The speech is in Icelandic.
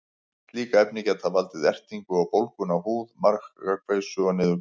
Slík efni geta valdið ertingu og bólgum á húð, magakveisu og niðurgangi.